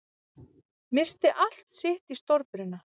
Missti allt sitt í stórbruna